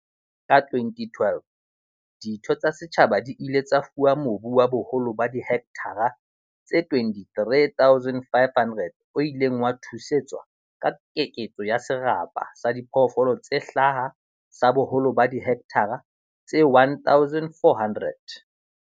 Ka 2012, ditho tsa setjhaba di ile tsa fuwa mobu wa boholo ba dihekthara tse 23 500 o ileng wa thusetswa ka keketso ya serapa sa diphoofolo tse hlaha sa boholo ba dihekthara tse 1 400.